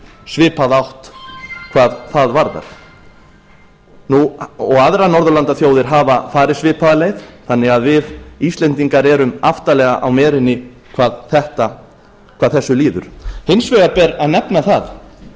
svipaða átt hvað það varðar aðrar norðurlandaþjóðir hafa farið svipaða leið þannig að við íslendingar erum aftarlega á merinni hvað þessu líður hins vegar ber að nefna það